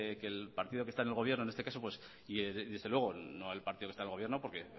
que el partido que está en el gobierno en este caso y desde luego no el partido que está en el gobierno porque